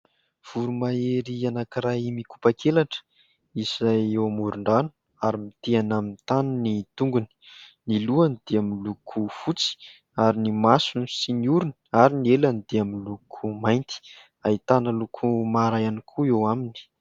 voromahery anankiray mikopakelatra izay eo amoron-drano ary miteana amin'ny tany ny tongony ny lohany dia min'ny loko fotsy ary ny masony sy ny orony ary ny elany dia amin'ny loko mainty aitana loko mara iany koa eo aminy